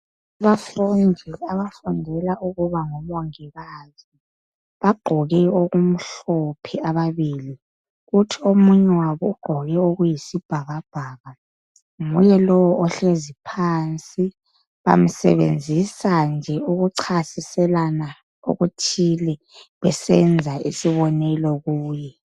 Abafundi abafundela ukuba ngomongikazi bagqoke okumhlophe ababili, kuthi omunye wabo ugqoke okuyisibhakabhaka nguye lo ohlezi phansi bamsebenzisa nje ukuchasiselana okuthile besenza isibonelo kuye.